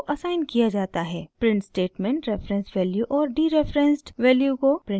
print statement reference value और dereferenced value को print करेगा